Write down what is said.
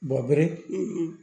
Bɔ bere